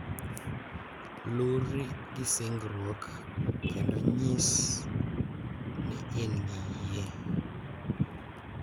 Luri gi singruok, kendo nyis ni in gi yie,